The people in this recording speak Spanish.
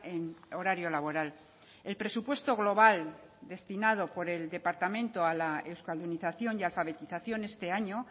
en horario laboral el presupuesto global destinado por el departamento a la euskaldunización y alfabetización este año